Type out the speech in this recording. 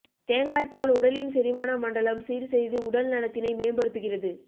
தேங்காய் பால் உடலின் செரிமான மண்டலம் சீர்செய்து உடல் நலத்தினை மேம்படுத்துகிறது